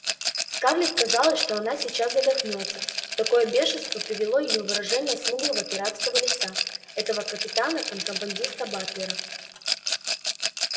скарлетт казалось что она сейчас задохнётся в такое бешенство привело её выражение смуглого пиратского лица этого капитана-контрабандиста батлера